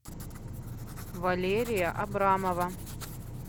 валерия абрамова